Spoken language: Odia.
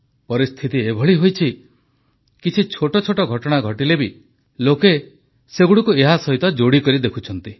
ପରିସ୍ଥିତି ଏଭଳି ହୋଇଛି ଯେ କିଛି ଛୋଟ ଛୋଟ ଘଟଣା ଘଟିଲେ ମଧ୍ୟ ଲୋକେ ସେଗୁଡ଼ିକୁ ଏହାସହିତ ଯୋଡ଼ି କରି ଦେଖୁଛନ୍ତି